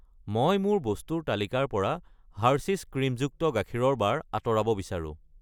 মই মোৰ বস্তুৰ তালিকাৰ পৰা হাৰ্সীছ ক্ৰীমযুক্ত গাখীৰৰ বাৰ আঁতৰাব বিচাৰো।